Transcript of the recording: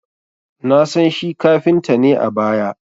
Na san shi kafinta ne a baya